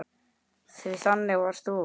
Því þannig varst þú.